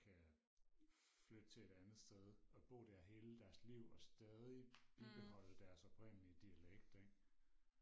kan flytte til et andet sted og bo der hele deres liv og stadig bibeholde deres oprindelige dialekt ikke